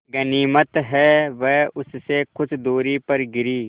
गनीमत है वे उससे कुछ दूरी पर गिरीं